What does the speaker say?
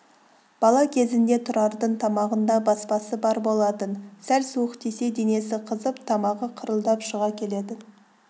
бала кезінде тұрардың тамағында баспасы бар болатын сәл суық тисе денесі қызып тамағы қырылдап шыға келетін